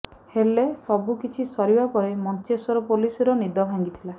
ହେଲେ ସବୁ କିଛି ସରିବା ପରେ ମଞ୍ଚେଶ୍ବର ପୋଲିସର ନିଦ ଭାଙ୍ଗିଥିଲା